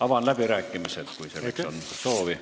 Avan läbirääkimised, kui selleks on soovi.